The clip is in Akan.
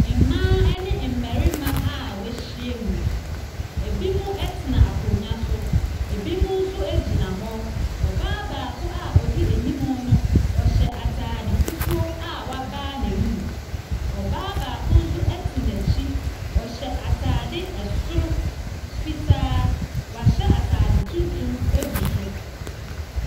Mmaa ne mmarima a wɔahyia muu. Ebinom tena akonnwa so, ebi nso gyna hɔ. Ɔbaa a odi anim no ɔhyɛ ataade fufuo a wabae n'anom. Ɔbaako nso te n'akyi ataade fitaa. Wahyɛ ataade tuntum agu so.